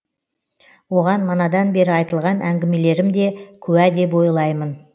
оған манадан бері айтылған әңгемелерім де куә деп ойлаймын